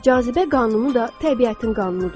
Cazibə qanunu da təbiətin qanunudur.